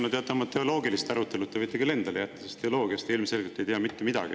No teate, oma teoloogilised arutelud te võite küll endale jätta, sest teoloogiast te ilmselgelt ei tea mitte midagi.